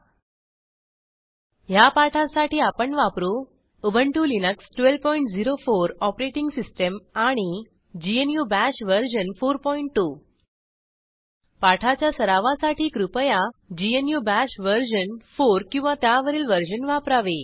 httpspoken tutorialorgWhat is a Spoken Tutorial ह्या पाठासाठी आपण वापरू उबंटु लिनक्स 1204 ओएस आणि ग्नू बाश वर्जन 42 पाठाच्या सरावासाठी कृपया ग्नू बाश वर्जन 4 किंवा त्यावरील वर्जन वापरावे